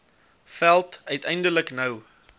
veld uiteindelik nou